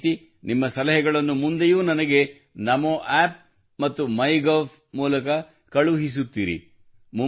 ಇದೇ ರೀತಿ ನಿಮ್ಮ ಸಲಹೆಗಳನ್ನು ಮುಂದೆಯೂ ನನಗೆ ನಮೋ ಆಪ್ ಮತ್ತು ಮೈಗೋವ್ ಮೂಲಕ ಕಳುಹಿಸುತ್ತಿರಿ